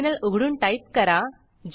terminal उघडून type करा